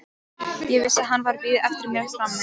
Ég vissi að hann var að bíða eftir mér frammi.